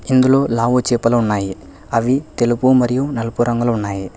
ఇందులో లావు చేపలు ఉన్నాయి అవి తెలుపు మరియు నలుపు రంగులో ఉన్నాయి.